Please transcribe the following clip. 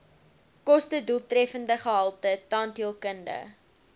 kostedoeltreffende gehalte tandheelkunde